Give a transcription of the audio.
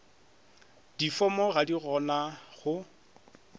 difomo ga di gona go